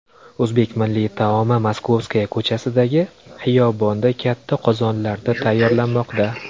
O‘zbek milliy taomi Moskovskaya ko‘chasidagi xiyobonda katta qozonlarda tayyorlanmoqda.